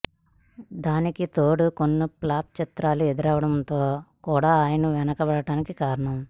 దానికి తోడు కొన్ని ప్లాప్ చిత్రాలు ఎదురవ్వడం కూడా ఆయన వెనక బడటానికి కారణం